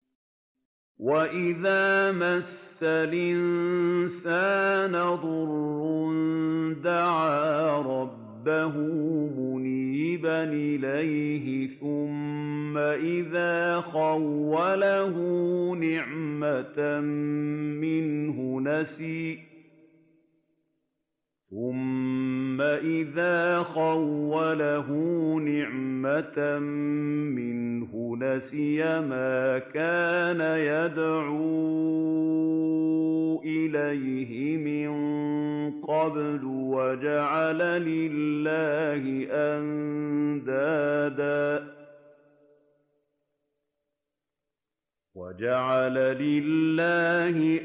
۞ وَإِذَا مَسَّ الْإِنسَانَ ضُرٌّ دَعَا رَبَّهُ مُنِيبًا إِلَيْهِ ثُمَّ إِذَا خَوَّلَهُ نِعْمَةً مِّنْهُ نَسِيَ مَا كَانَ يَدْعُو إِلَيْهِ مِن قَبْلُ وَجَعَلَ لِلَّهِ